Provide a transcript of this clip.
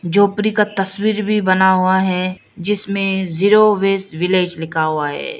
झोपडी का तस्वीर भी बना हुआ है जिसमें जीरो वेस्ट विलेज लिखा हुआ है।